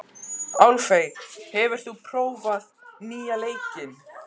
Álfey, hefur þú prófað nýja leikinn?